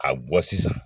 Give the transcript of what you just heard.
A bɔ sisan